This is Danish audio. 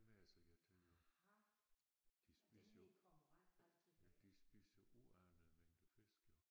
Dem er jeg så irriteret på de spiser jo de spiser uanede mængder fisk jo